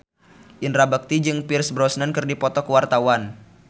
Indra Bekti jeung Pierce Brosnan keur dipoto ku wartawan